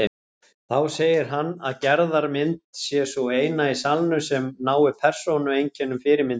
Þá segir hann að Gerðar mynd sé sú eina í salnum sem nái persónueinkennum fyrirmyndarinnar.